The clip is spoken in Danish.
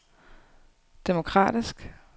demokratisk